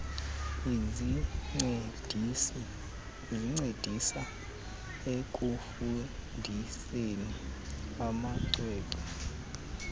ezincedisa ekufundiseni amacwecwe